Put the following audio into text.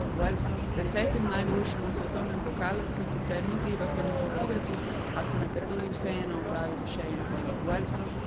Desetim najboljšim v svetovnem pokalu se sicer ni treba kvalificirati, a so nekateri vseeno opravili še en polet.